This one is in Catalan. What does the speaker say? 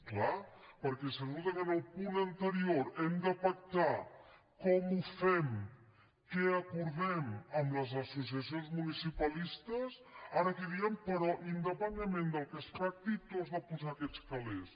és clar perquè si resulta que en el punt anterior hem de pactar com ho fem què acordem amb les associacions municipalistes ara aquí diem però independentment del que es pacti tu has de posar aquests calers